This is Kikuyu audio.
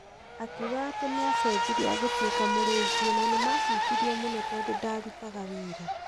Akiuga atĩ nĩacejirie agĩtuĩka mũrĩu biũ na nĩmahutirio mũno tondũ ndarutaga wĩra.